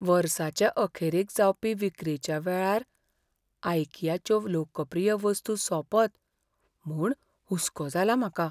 वर्साचे अखेरेक जावपी विक्रेच्या वेळार आयकियाच्यो लोकप्रीय वस्तू सोंपत म्हूण हुसको जाला म्हाका.